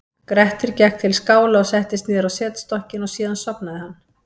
grettir gekk til skála og settist niður á setstokkinn og síðan sofnaði hann